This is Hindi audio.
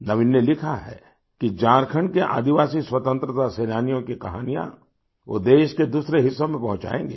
नवीन ने लिखा है कि झारखंड के आदिवासी स्वतंत्रता सेनानियों की कहानियाँ वो देश के दूसरे हिस्सों में पहुँचायेंगे